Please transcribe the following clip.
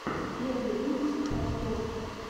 первый выпуск просторъ